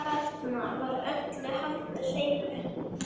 Þarna var öllu haldið hreinu.